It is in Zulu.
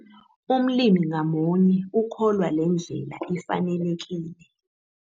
Umlimi ngamunye ukholwa le ndlela ifanelekile.